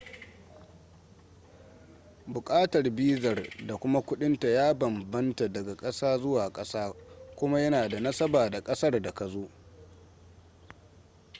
bukatar bizar da kuma kudinta ya banbamta daga kasa zuwa kasa kuma yana da nasaba da kasar da ka zo